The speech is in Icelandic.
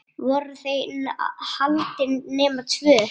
Voru þau haldin nema tvö?